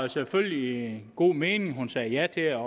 selvfølgelig i en god mening at hun sagde ja til at